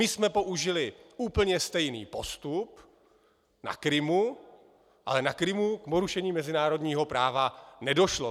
My jsme použili úplně stejný postup na Krymu, ale na Krymu k porušení mezinárodního práva nedošlo.